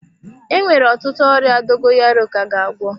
Enwere ọtụtụ ọrịa dogoyaro ka ga agwọ.